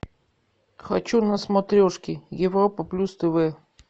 хочу на смотрешке европа плюс тв